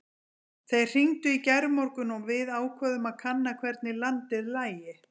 Þeir hringdu í gærmorgun og við ákváðum að kanna hvernig landið lægi.